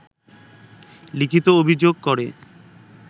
লিখিত অভিযোগ করে